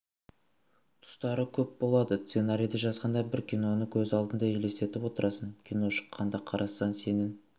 тұстары көп болады сценарийді жазғанда бір киноны көз алдыңа елестетіп отырасың кино шыққанда қарасаң сенің